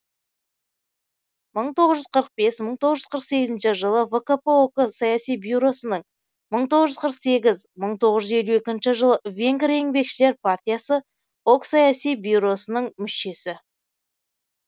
мың тоғыз жүз қырық бес мың тоғыз жүз қырық сегізінші жылы вкп ок саяси бюросының мың тоғыз жүз қырық сегіз мың тоғыз жүз елу екінші жылы венгр еңбекшілер партиясы ок саяси бюросының мүшесі